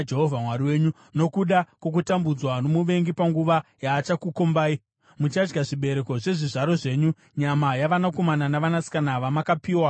Nokuda kwokutambudzwa nomuvengi panguva yaachakukombai, muchadya zvibereko zvezvizvaro zvenyu, nyama yavanakomana navanasikana vamakapiwa naJehovha.